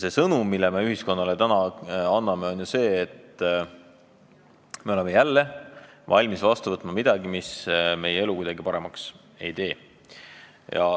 Ja sõnum, mille me täna anname, on see, et me oleme jälle valmis vastu võtma midagi, mis meie elu kuidagi paremaks ei tee.